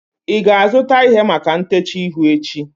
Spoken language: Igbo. ị ga-azụta ihe maka ntecha ihu echi?